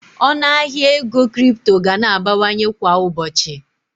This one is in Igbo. Ọnụ ahịa ego kripto ga na-abawanye kwa ụbọchị